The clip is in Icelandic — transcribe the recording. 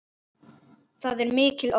Það er mikil ógn.